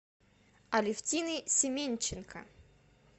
алефтиной семенченко